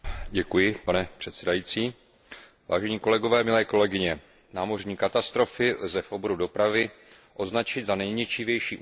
Vážení kolegové, milé kolegyně, námořní katastrofy lze v oboru dopravy označit za nejničivější události, které se jednorázově odehrály.